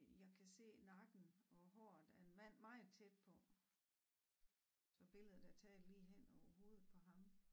Jeg kan se nakken og håret af en mand meget tæt på så billedet er taget lige hen over hovedet på ham